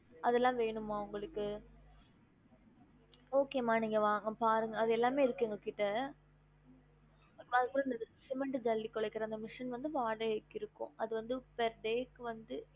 அதெல்லாம் வேணுமா உங்களுக்கு okay மா நீங்க வாங்~ பாருங்க அதெல்லாமே இருக்கு எங்க கிட்ட அதுக்கு அப்புறம் இந்த cement ஜல்லி குலைகுற அந்த machine வந்து வாடைகைக்கு இருக்கும் அது வந்து per day க்கு வந்து